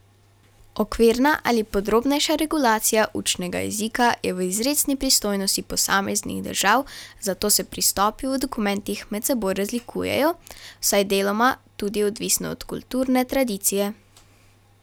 Okvirna ali podrobnejša regulacija učnega jezika je v izrecni pristojnosti posameznih držav, zato se pristopi v dokumentih med seboj razlikujejo, vsaj deloma tudi odvisno od kulturne tradicije.